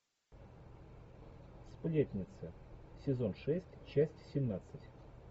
сплетница сезон шесть часть семнадцать